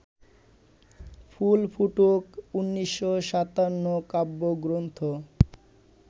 ফুল ফুটুক ১৯৫৭ কাব্যগ্রন্থ